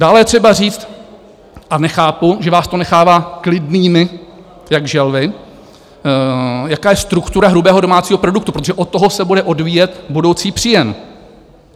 Dále je třeba říct, a nechápu, že vás to nechává klidnými jak želvy, jaká je struktura hrubého domácího produktu, protože od toho se bude odvíjet budoucí příjem.